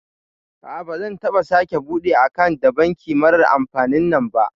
A'a bazan taɓa sake bude akant da banki marar amfanin nan